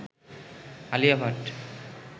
Alia Bhatt